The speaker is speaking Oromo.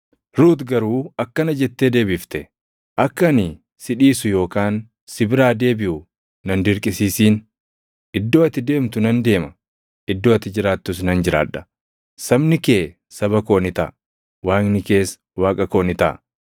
Ruut garuu akkana jettee deebifte; “Akka ani si dhiisu yookaan si biraa deebiʼu na hin dirqisiisin. Iddoo ati deemtu nan deema; iddoo ati jiraattus nan jiraadha. Sabni kee saba koo ni taʼa; Waaqni kees Waaqa koo ni taʼa.